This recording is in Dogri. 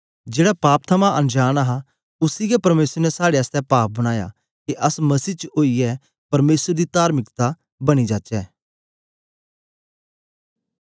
जेड़ा पाप थमां अनजांन हा उसी गै परमेसर ने साड़े आसतै पाप बनाया के अस मसीह च ओईयै परमेसर दी तार्मिकता बनी जाचै